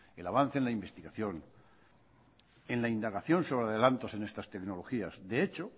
en el avance y la investigación en la indagación sobre adelantos en estas tecnologías de hecho